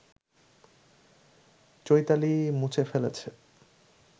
চৈতালি মুছে ফেলেছে